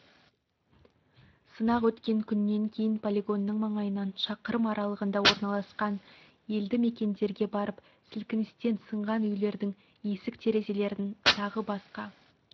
сынақ өткен күнен кейін полигонның маңайынан шақырым аралығында орналасқан елді мекендерге барып сілкіністен сынған үйлердің есік-терезелерін тағы басқа